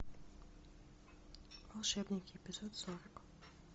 волшебники эпизод сорок